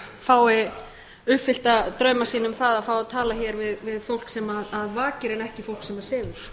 fái uppfyllta drauma sína um það að fá að tala hér við fólk sem vakir en ekki fólk sem sefur